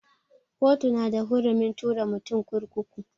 Kotu na da hurumin tura mutum kurkuku.